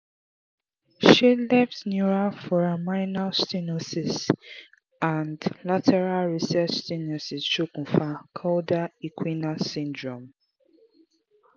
se left neural foraminal stenosis and lateral recess stenosis sokun fa cauda equina syndrome?